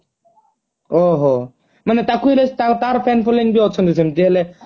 ଓହୋ ମାନେ ତାକୁ ହିଁ ତାର fan following ବି ଅଛନ୍ତି ସେମତି ହେଲେ